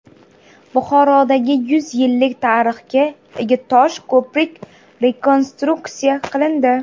Buxorodagi yuz yillik tarixga ega tosh ko‘prik rekonstruksiya qilindi.